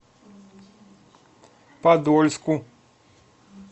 подольску